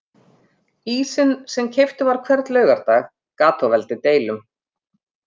Ísinn sem keyptur var hvern laugardag gat þó valdið deilum.